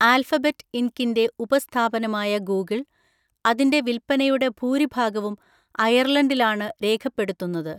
Alphabet ഇന്‍കിന്‍റെ ഉപസ്ഥാപനമായ Google‍, അതിന്‍റെ വിൽപ്പനയുടെ ഭൂരിഭാഗവും അയർലണ്ടിലാണ് രേഖപ്പെടുത്തുന്നത്.